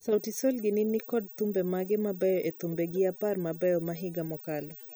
Sauti Sol gini ne nikod thumbe mage mabeyo ei thumbegi apar mabeyo ma higa mokalo